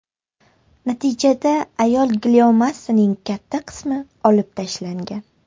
Natijada ayol gliomasining katta qismi olib tashlangan.